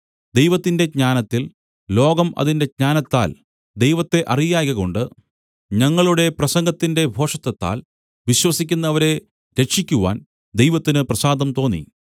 ദൈവത്തിന്റെ ജ്ഞാനത്തിൽ ലോകം അതിന്റെ ജ്ഞാനത്താൽ ദൈവത്തെ അറിയായ്കകൊണ്ട് ഞങ്ങളുടെ പ്രസംഗത്തിന്റെ ഭോഷത്തത്താൽ വിശ്വസിക്കുന്നവരെ രക്ഷിക്കുവാൻ ദൈവത്തിന് പ്രസാദം തോന്നി